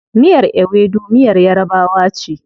Miyar Ewedu miyar yarabawa ce.